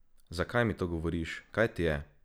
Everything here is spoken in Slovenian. Zakaj mi to govoriš, kaj ti je?